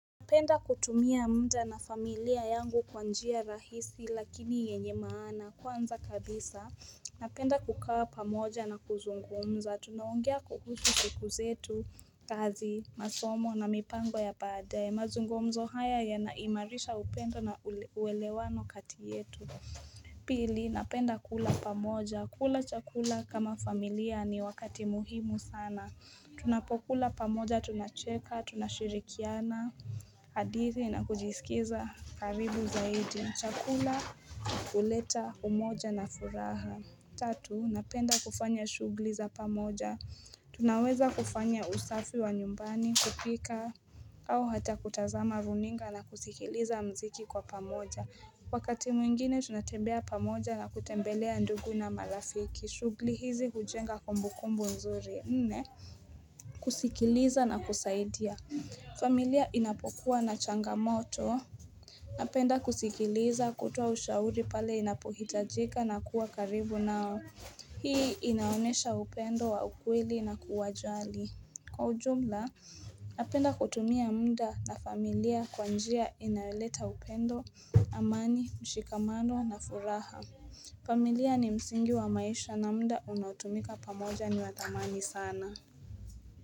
Napenda kutumia muda na familia yangu kwanjia rahisi lakini yenye maana. Kwanza kabisa. Napenda kukawa pamoja na kuzungumza. Tunaongea kuhusu sikuzetu, kazi, masomo na mipango ya baadae. Mazungumzo haya ya naimarisha upendo na uelewano kati yetu. Pili, napenda kula pamoja. Kula chakula kama familia ni wakati muhimu sana. Tunapokula pamoja, tunacheka, tunashirikiana, hadithi na kujisikiza karibu zaidi. Chakula huleta umoja na furaha. Tatu, napenda kufanya shughuli za pamoja Tunaweza kufanya usafi wa nyumbani, kupika au hata kutazama runinga na kusikiliza muziki kwa pamoja Wakati mwingine tunatembea pamoja na kutembelea ndugu na marafiki shughuli hizi hujenga kumbu kumbu nzuri, nne? Kusikiliza na kusaidia familia inapokuwa na changamoto Napenda kusikiliza kutoa ushauri pale inapohitajika na kuwa karibu nao Hii inaonesha upendo wa kweli na kuwajali Kwa ujumla, napenda kutumia muda na familia kwanjia inayoleta upendo, amani, mshikamano na furaha familia ni msingi wa maisha na muda unaotumika pamoja ni wathamani sana.